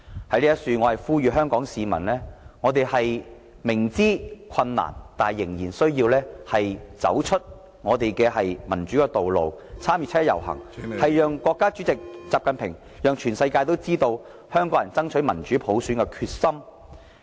我在此呼籲香港市民，雖然明知困難，但仍要走出我們的民主道路，參與七一遊行，讓國家主席習近平及全世界知道香港人爭取民主普選的決心。